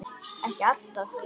Ekki alltaf.